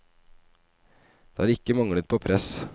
Det har ikke manglet på press.